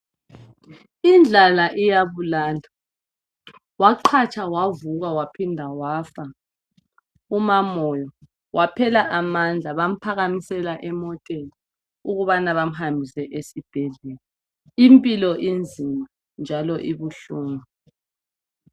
Indlala iyabulala waqatsha wavuka waphinda wafa umamoyo waphela amandla bamphakamisela emoteni ukuba bamuhambise esibhedlela, impilo izima njalo ibuhlungu.